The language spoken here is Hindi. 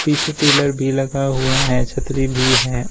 पीछे टीलर भी लगा हुआ है छतरी भी है।